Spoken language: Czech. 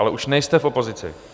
Ale už nejste v opozici.